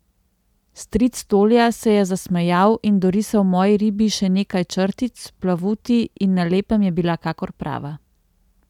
Stric Tolja se je zasmejal in dorisal moji ribi še nekaj črtic, plavuti, in na lepem je bila kakor prava.